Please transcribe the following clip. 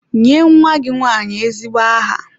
Nye nwa gị nwanyị ezigbo aha!